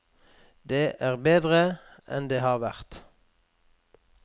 Det er bedre enn det har vært.